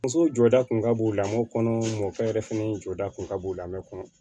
Muso jɔda kun ka bon o lamɔ kɔnɔ mɔkɛ yɛrɛ fɛnɛ jɔda kun ka bon lamɛn kɔnɔ